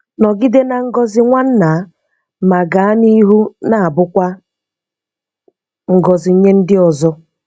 Nọgide na ngọzi nwanna ma gaa n'ihu na-abụkwa ngọzi nye ndị ọzọ.